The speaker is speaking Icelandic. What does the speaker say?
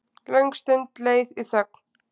Löng stund leið í þögn.